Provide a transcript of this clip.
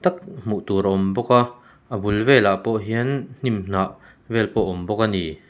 hmuh tur a awm bawka a bul velah pawh hian hnimhnah vel pawh awm bawk a ni.